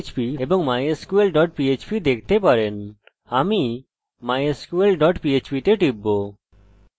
কানেক্টে click না করার কারণ mysql এর ভিতরে আমাদের connected dot php দরকার